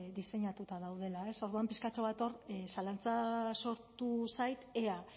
diseinatuta daudela ez orduan pixkatxo bat hor zalantza sortu zait ea